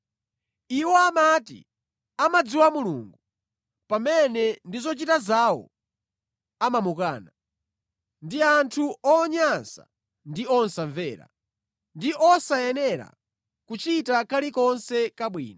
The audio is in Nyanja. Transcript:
Iwo amati amadziwa Mulungu, pamene ndi zochita zawo amamukana. Ndi anthu onyansa ndi osamvera, ndi osayenera kuchita kalikonse kabwino.